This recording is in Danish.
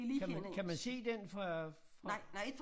Kan man kan man se den fra fra